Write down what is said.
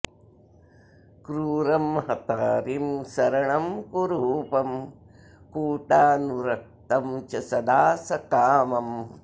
क्रूरं हतारिं सरणं कुरूपं कूटानुरक्तं च सदा सकामम्